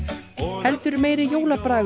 heldur meiri